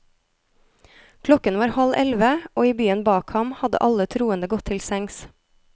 Klokken var halv elleve, og i byen bak ham hadde alle troende gått til sengs.